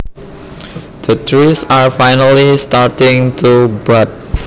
The trees are finally starting to bud